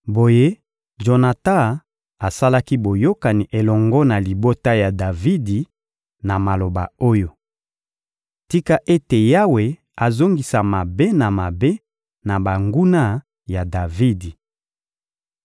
Boye Jonatan asalaki boyokani elongo na libota ya Davidi na maloba oyo: «Tika ete Yawe azongisa mabe na mabe na banguna ya Davidi!»